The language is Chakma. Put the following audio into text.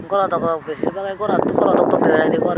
gorow dog dog besirbagey goraan goraw dok dok dega jaidey gor.